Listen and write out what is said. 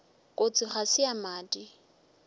kotsi ga se ya madi